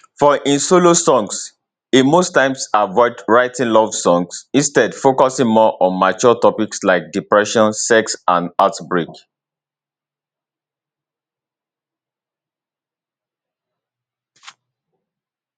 for im solo songs e most times avoid writing love songs instead focusing more on mature topics like depression sex and heartbreak